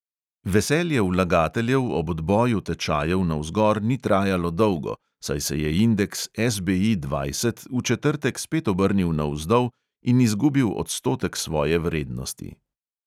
Veselje vlagateljev ob odboju tečajev navzgor ni trajalo dolgo, saj se je indeks SBI dvajset v četrtek spet obrnil navzdol in izgubil odstotek svoje vrednosti.